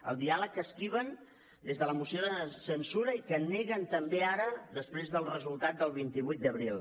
el diàleg que esquiven des de la moció de censura i que neguen també ara després del resultat del vint vuit d’abril